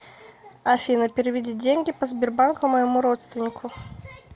афина переведи деньги по сбербанку моему родственнику